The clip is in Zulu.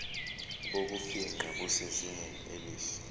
bokufingqa busezingeni elihle